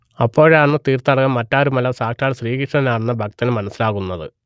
അപ്പോഴാണ് തീർത്ഥാടകൻ മറ്റാരുമല്ല സാക്ഷാൽ ശ്രീകൃഷ്ണനാണെന്ന് ഭക്തന് മനസ്സിലായത്